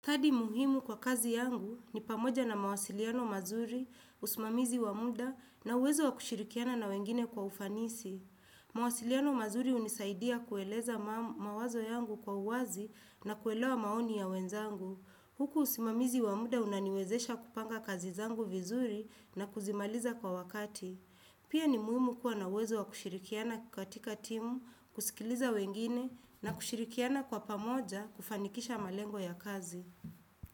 Hadhi muhimu kwa kazi yangu ni pamoja na mawasiliano mazuri, usimamizi wa muda na uwezo wa kushirikiana na wengine kwa ufanisi. Mawasiliano mazuri hunisaidia kueleza mawazo yangu kwa uwazi na kuelewa maoni ya wenzangu. Huku usimamizi wa muda unaniwezesha kupanga kazi zangu vizuri na kuzimaliza kwa wakati. Pia ni muhimu kuwa na uwezo wa kushirikiana katika timu, kusikiliza wengine na kushirikiana kwa pamoja kufanikisha malengo ya kazi.